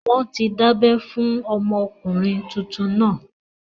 Wọ́n ti dábẹ́ fún ọmọkùnrin tuntun náà